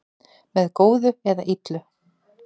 Með góðu eða illu